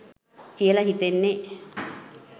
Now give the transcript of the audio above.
කියල හිතෙන්නෙ.